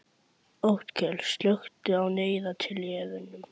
Otkell, slökktu á niðurteljaranum.